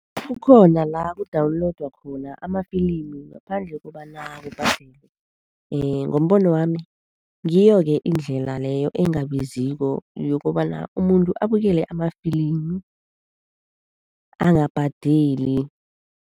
Kukhona la ku-downloader khona amafilimu ngaphandle kokobana kubhadelwe. Ngombono wami ngiyo-ke indlela leyo engabiziko yokobana umuntu abukele amafilimu angabhadeli.